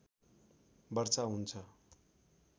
वर्षा हुन्छ